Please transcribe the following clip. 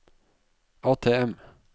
ATM